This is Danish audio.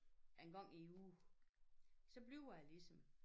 En gang i æ uge. Så bliver jeg ligesom